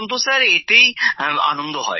এখন তো স্যার এতেই আনন্দ হয়